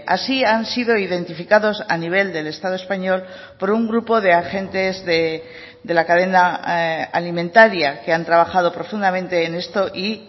así han sido identificados a nivel del estado español por un grupo de agentes de la cadena alimentaria que han trabajado profundamente en esto y